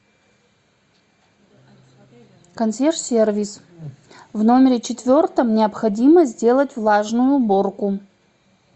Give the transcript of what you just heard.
консьерж сервис в номере четвертом необходимо сделать влажную уборку